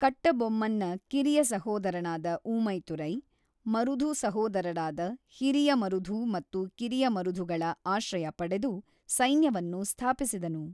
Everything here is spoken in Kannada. ಕಟ್ಟಬೊಮ್ಮನ್‌ನ ಕಿರಿಯ ಸಹೋದರನಾದ ಊಮೈತುರೈ ಮರುಧು ಸಹೋದರರಾದ ಹಿರಿಯ ಮರುಧು ಮತ್ತು ಕಿರಿಯ ಮರುಧುಗಳ ಆಶ್ರಯ ಪಡೆದು ಸೈನ್ಯವನ್ನು ಸ್ಥಾಪಿಸಿದನು.